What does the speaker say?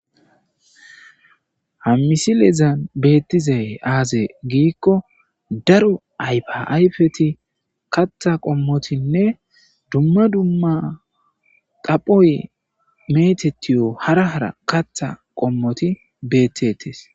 Hammisilezan beettizay aazay giikko daro aypaayfeti katha qommotinne dumma dumma daphoye metetiyo hara hara katha qommoti beettetes.